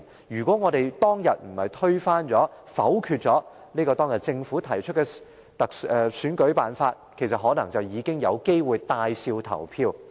如果當天沒有推翻、沒有否決政府提出的選舉辦法，便可能有機會帶笑投票。